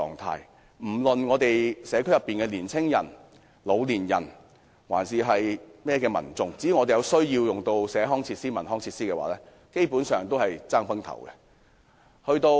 區內的青年人、老年人或其他民眾，如有需要使用社區設施或文康設施，也要拼個你死我活。